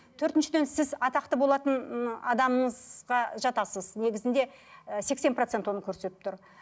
төртіншіден сіз атақты болатын ы адамыңызға жатасыз негізінде і сексен процент оны көрсетіп тұр